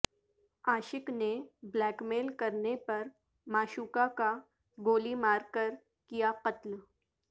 عاشق نے blackmail کرنے پر معشوقہ کا گولی مار کر کیا قتل